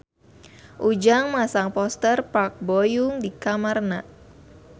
Ujang masang poster Park Bo Yung di kamarna